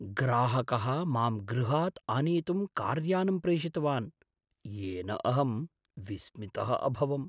ग्राहकः मां गृहात् आनेतुं कार्यानं प्रेषितवान्, येन अहं विस्मितः अभवम्।